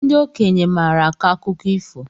Ndị okenye maara akọ akụkọ ifo